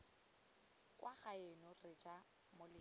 kwa gaeno re ja moletlo